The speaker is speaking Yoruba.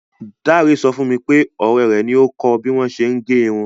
Dáre sọ fún mi pé ọ̀rẹ́ rẹ̀ ni ó kọ bí wọn ṣe ń gẹrun.